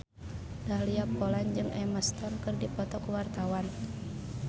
Dahlia Poland jeung Emma Stone keur dipoto ku wartawan